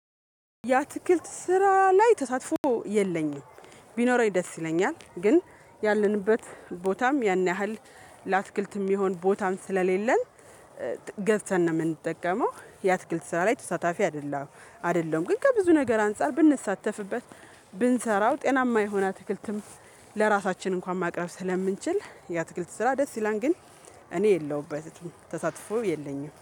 ያ ትክክል ስራ ላይ ተሳትፎ የለኝም። ቢኖረኝ ደስ ይለኛል ግን ያለንበት ቦታም ያን ያህል ለአትክልት የሚሆን ቦታም ስለሌለን። ገዝተን ነው የምንጠቀመው የአትክልት ስራ ላይ ተሳታፊ አይደለም። አደለሁም ግን ከብዙ ነገር አንፃር ብንሳተፍበት ብንሰራው ጤናማ የሆነ ትክልትም ለራሳችን እንኳን ማቅረብ ስለምንችል ያትክልት ስራ ደስ ይላን ግን። እኔ የለሁበትም ተሳትፎ የለኝም